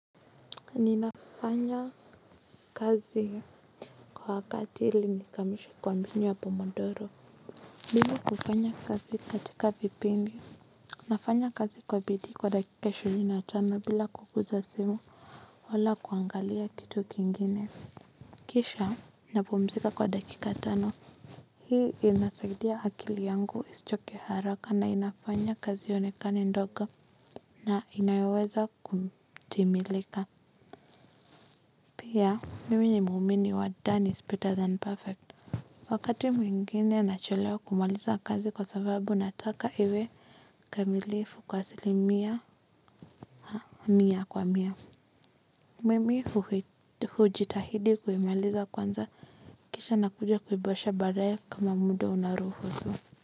Ninafanya kazi kwa wakati ili nikamilishe kwa mbinu ya pomodoro. Mimi hufanya kazi katika vipindi. Nafanya kazi kwa bidii kwa dakika ishirini na tano bila kuguza simu. Wala kuangalia kitu kingine. Kisha napumzika kwa dakika tano. Hii inasaidia akili yangu isichoke haraka na inafanya kazi ionekane ndogo. Na inayoweza kutimilika. Pia, mimi ni muumini wa done is better than perfect. Wakati mwingine nachelewa kumaliza kazi kwa sababu nataka iwe. Kamilifu kwa asilimia, mia kwa mia. Mimi hujitahidi kuimaliza kwanza, kisha nakuja kuiboresha baadaye kama muda unaruhusu.